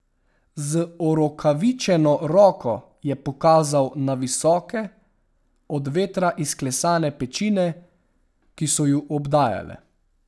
Z orokavičeno roko je pokazal na visoke, od vetra izklesane pečine, ki so ju obdajale.